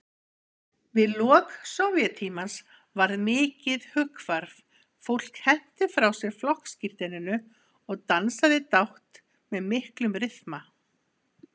Við lok Sovéttímans varð mikið hughvarf, fólk henti frá sér flokkssírteininu og dansaði dátt með miklum ryþma.